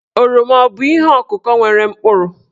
Oroma abụ ihe ọ̀kụ̀kọ̀ nwere mkpụrụ?